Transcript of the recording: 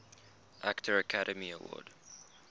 actor academy award